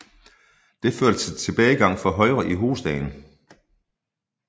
Det førte til tilbagegang for Højre i hovedstaden